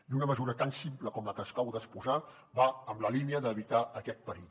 i una mesura tan simple com la que acabo d’exposar va en la línia d’evitar aquest perill